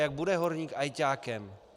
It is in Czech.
Jak bude horník ajťákem?